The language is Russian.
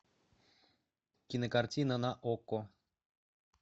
кинокартина на окко